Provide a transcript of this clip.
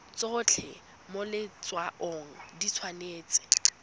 tsotlhe mo letshwaong di tshwanetse